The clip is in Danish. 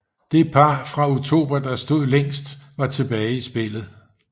Det par fra Utopia der stod længst var tilbage i spillet